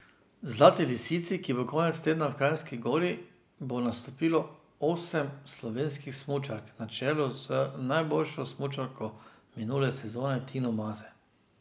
Zlati lisici, ki bo konec tedna v Kranjski Gori, bo nastopilo osem slovenskih smučark, na čelu z najboljšo smučarko minule sezone Tino Maze.